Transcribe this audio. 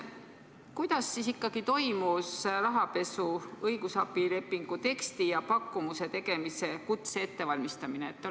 Kuidas siis ikkagi toimus rahapesuga seotud õigusabilepingu teksti ja pakkumuse tegemise kutse ettevalmistamine?